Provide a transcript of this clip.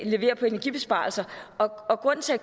leverer på energibesparelser og grunden til at